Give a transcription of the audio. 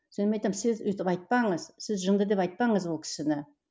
мен айтамын сіз өйтіп айтпаңыз сіз жынды деп айтпаңыз ол кісіні